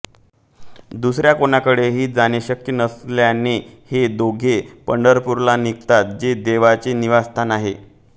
दुसऱ्या कोणाकडेही जाणे शक्य नसल्याने हे दोघे पंढरपूरला निघतात जे देवाचे निवासस्थान आहे